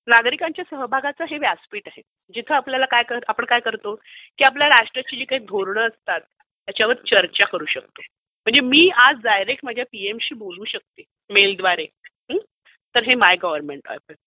नागरिकांच्या सहभागाचं हे व्यासपीठ आहे. जिथे आपण काय करतो की आपल्या राष्ट्राची जी काही धोरण असतात त्याच्यावर चर्चा करू शकतो. म्हणजे मी आज डायरेक्ट माझ्या पीएम शी बोलू शकते मेल द्वारे तर हे माय गव्हर्नमेंट एप आहे.